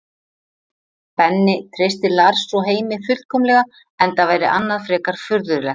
Benni treystir Lars og Heimi fullkomlega enda væri annað frekar furðulegt.